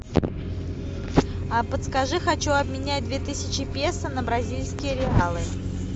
а подскажи хочу обменять две тысячи песо на бразильские реалы